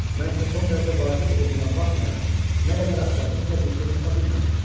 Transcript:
Mən isə son dərəcə vacib olduğuna baxmayaraq, nə qədər axtardımsa bir şey tapa bilmədim."